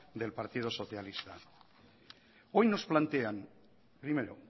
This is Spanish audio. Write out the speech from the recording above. del partido socialista hoy nos plantean primero